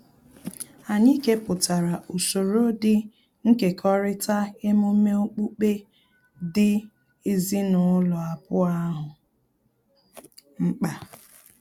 Anyị kepụtara usoro dị nkekọrịta emume okpukpe dị ezinụlọ abụọ ahụ mkpa